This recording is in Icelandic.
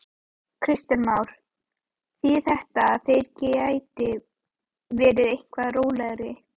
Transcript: Kristján Már: Þýðir þetta að þeir geti verið eitthvað rólegri?